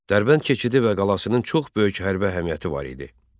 Dərbənd keçidi və qalasının çox böyük hərbi əhəmiyyəti var idi.